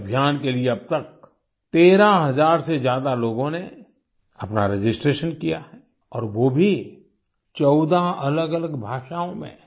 इस अभियान के लिए अब तक 13 हज़ार से ज्यादा लोगों ने अपना रजिस्ट्रेशन किया है और वो भी 14 अलगअलग भाषाओँ में